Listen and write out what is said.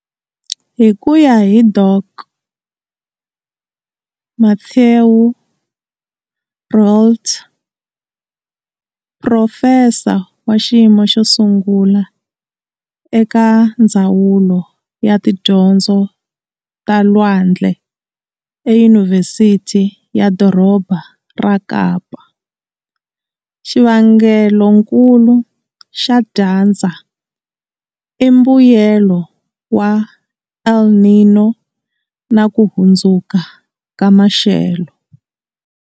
Hi ku ya hi Dok. Mathieu Roualt, phurofesa wa xiyimo xo sungula eka Ndzawulo ya Tidyondzo ta Lwandle eYunivhesithi ya Doroba ra Kapa, xivangelonkulu xa dyandza i mbuyelo wa El Niño na ku hundzuka ka maxelo.